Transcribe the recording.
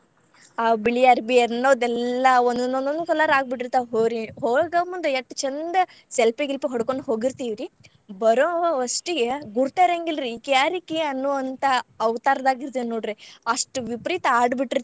ಆ ಬಿಳಿ ಅರ್ಬಿ ಅನ್ನೋದೆಲ್ಲಾ ಒಂದ್ ಒಂದ್ ಒಂದ್ colour ಆಗಿಬಿಟ್ಟಿರ್ತಾವ ರೀ. ಹೋಗೋ ಮುಂದ್ ಎಷ್ಟ ಚಂದ selfie ಗಿಲ್ಪಿ ಹೊಡಕೊಂಡ್ ಹೋಗಿರ್ತೇವ್ರಿ ಬರೋವಷ್ಟಿಗೆ ಗುರ್ತ್ ಇರಂಗಿಲ್ರಿ ಇಕಿ ಯಾರಿಕಿ ಅನ್ನು ಅಂತಾ ಅವತಾರದಾಗ್ ಇರ್ತೇವಿ ನೋಡ್ರಿ ಅಷ್ಟ್ ವಿಪರೀತ ಆಡಿ ಬಿಟ್ಟಿರ್ತೇವ್ರಿ.